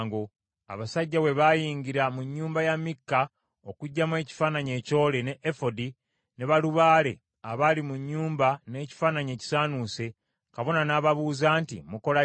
Abasajja bwe bayingira mu nnyumba ya Mikka okuggyamu ekifaananyi ekyole, ne Efodi, ne balubaale abaali mu nnyumba n’ekifaananyi ekisaanuuse, kabona n’ababuuza nti, “Mukola ki?”